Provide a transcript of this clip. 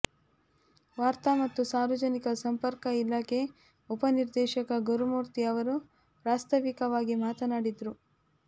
ವಾರ್ತಾ ಮತ್ತು ಸಾರ್ವಜನಿಕ ಸಂಪರ್ಕ ಇಲಾಖೆ ಉಪನಿರ್ದೇಶಕ ಗುರುಮೂರ್ತಿ ಅವರು ಪ್ರಾಸ್ತಾವಿಕವಾಗಿ ಮಾತನಾಡಿದರು